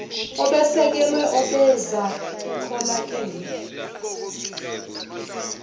obesekelwe obeza kukholakale